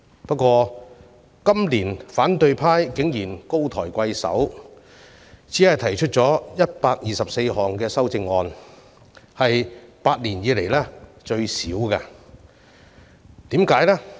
不過，反對派今年竟然高抬貴手，只提出了124項修正案，屬8年來最少，為甚麼呢？